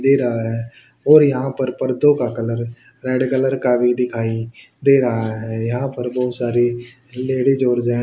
दे रहा है और यहां पर पर्दो का कलर रेड कलर का भी दिखाई दे रहा है यहां पर बहुत सारी लेडिस और जेंट्स --